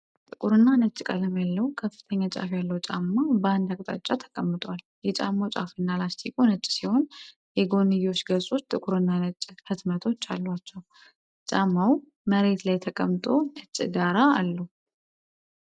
ጥቁርና ነጭ ቀለም ያለው ከፍተኛ ጫፍ ያለው ጫማ በአንድ አቅጣጫ ተቀምጧል። የጫማው ጫፍና ላስቲኩ ነጭ ሲሆን፣ የጎንዮሽ ገጾች ጥቁርና ነጭ ህትመቶች አሏቸው። ጫማው መሬት ላይ ተቀምጦ ነጭ ዳራ አለው።